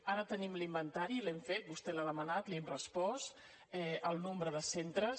ara tenim l’inventari l’hem fet vostè l’ha demanat li hem respost el nombre de centres